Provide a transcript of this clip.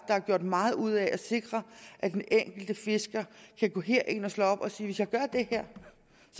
er gjort meget ud af at sikre at den enkelte fisker kan gå ind og slå op og sige hvis jeg gør det her